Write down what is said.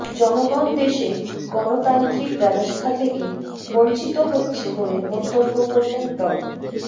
জনগণ দেশে গণতান্ত্রিক ব্যবস্থা থেকে বঞ্চিত হচ্ছে বলে মন্তব্য করেন ড